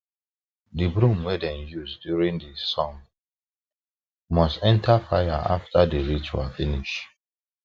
the broom wey dem use during the song must enter fire after the ritual finish